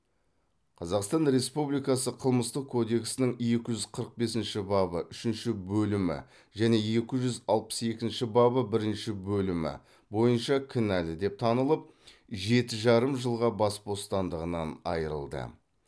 қазақстан республикасы қылмыстық кодексінің екі жүз қырық бесінші бабы үшінші бөлімі және екі жүз алпыс екінші бабы бірінші бөлімі бойынша кінәлі деп танылып жеті жарым жылға бас бостандығынан айырылды